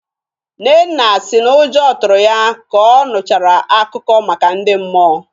Nnenna si n'ụjọ tụrụ ya ka ọ nụchara akụkọ maka ndị mmụọ.